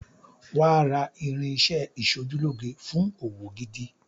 Wàá ra irinṣẹ́ ẹ ìṣojúlóge fún òwò gidi.